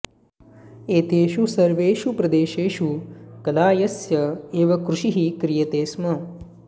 एतेषु सर्वेषु प्रदेशेषु कलायस्य एव कृषिः क्रियते स्म